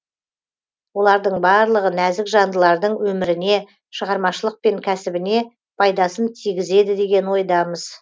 олардың барлығы нәзік жандылардың өміріне шығармашылық пен кәсібіне пайдасын тигізеді деген ойдамыз